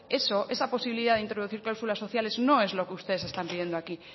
eso esa posibilidad de incluir cláusulas sociales no es lo que ustedes están pidiendo aquí